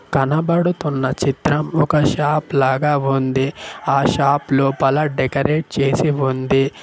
కనబడుతున్న చిత్రం ఒక షాప్ లాగా వుంది ఆ షాప్ లోపల డెకరేట్ చేసి వుంది.